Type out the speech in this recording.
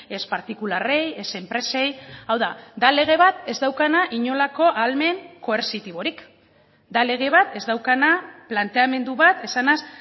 ez partikularrei ez enpresei hau da da lege bat ez daukana inolako ahalmen koertzitiborik da lege bat ez daukana planteamendu bat esanez